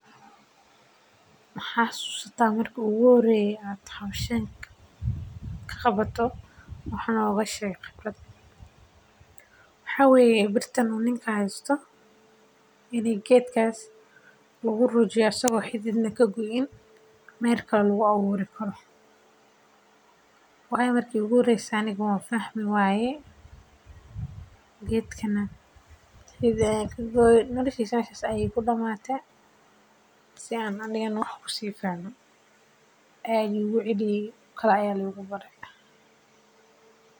Ma xasuusta marki iigu horeyse aan qabto wax nooga sheeg khibradaada marki iigu horeyse aan xoolaha daaqin geeyo waxaan lasocde aabahey aad ayaan ujeclahay waxaa yeele waa meesha kaliya oo caalami oo dadka aay uwanagsan yahay hadane wax.